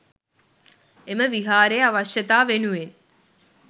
එම විහාරයේ අවශ්‍යතා වෙනුවෙන්